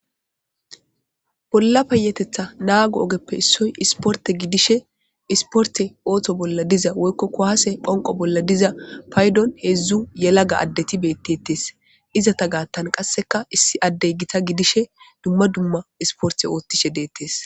Bolla payetetha naago ogeppe issoy isporte gidishe isporte oothto bolla diza woykkokko haase phonqo bolla diza paydon heedzdzu yelaga addeti beettetes izata gaattan qasseka issi addey gita gidishe dumma dumma isporte oothtishe deettes